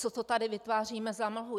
Co to tady vytváříme za mlhu?